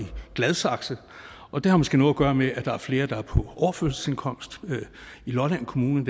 gladsaxe og det har måske noget at gøre med at der er flere der er på overførselsindkomst i lolland kommune